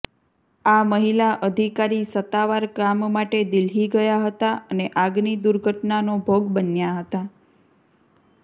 આ મહિલા અધિકારી સત્તાવાર કામ માટે દિલ્હી ગયાં હતાં અને આગની દુર્ઘટનાનો ભોગ બન્યાં હતાં